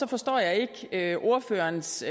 forstår jeg ikke ordførerens